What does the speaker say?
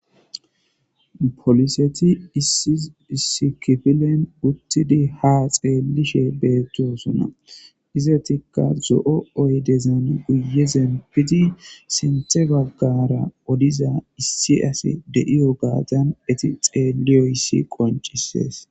poliseti iissikifilen uttidi ha xeelishe beettosuna izetikka zo7o oy dezan guyezen piti sinthe baggara odiza issi asi de7iyo gaatan eti xeeliyoyssi qoncisees